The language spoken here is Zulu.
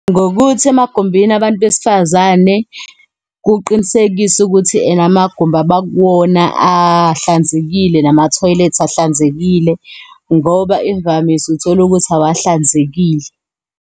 Ngokuthi emagumbini abantu besifazane kuqinisekiswe ukuthi ena amagumbi abakuwona ahlanzekile, namathoyilethi ahlanzekile, ngoba imvamisa utholukuthi awahlanzekile.